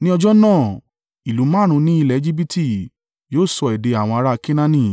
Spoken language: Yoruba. Ní ọjọ́ náà ìlú márùn-ún ní ilẹ̀ Ejibiti yóò sọ èdè àwọn ará Kenaani,